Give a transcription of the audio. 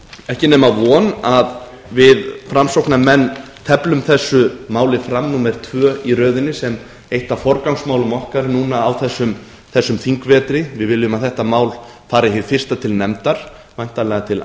ekki nema von að við framsóknarmenn teflum þessu máli fram númer tvö í röðinni sem eitt af forgangsmálum okkar núna á þessum þingvetri við viljum að þetta mál fari hið fyrsta til nefndar væntanlega til